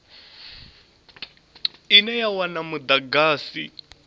ine ya wana mudagasi u